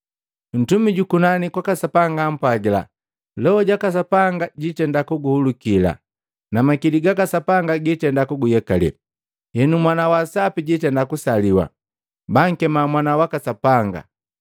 Ntumi jukunani kwaka Sapanga ampwagila, “Loho jaka Sapanga jiitenda kuguhulukila na makili gaka Sapanga giitenda kuguyekale. Henu Mwana wa Sapi jitenda kusaliwa, bankema Mwana waka Sapanga.